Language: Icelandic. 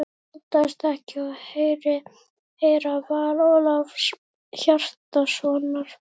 Hann óttaðist ekki að heyra val Ólafs Hjaltasonar.